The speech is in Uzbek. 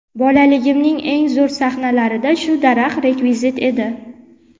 Bolaligimning eng zo‘r sahnalarida shu daraxt rekvizit edi.